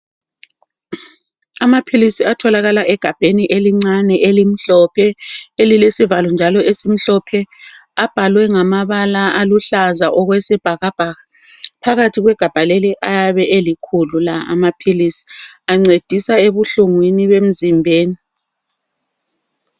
Amaphilisi atholakala egabheni elincane elimhlophe elilesivalo njalo esimhlophe abhalwe ngamabala aluhlaza okwesibhakabhaka phakathi kwegabha leli ayabe elikhulu la amaphilisi ancedisa ebuhlungwini bemzimbeni .